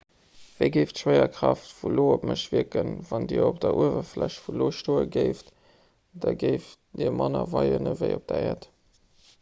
wéi géif d'schwéierkraaft vun io op mech wierken wann dir op der uewerfläch vun io stoe géift da géift dir manner weien ewéi op der äerd